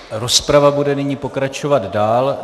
Rozprava bude nyní pokračovat dál.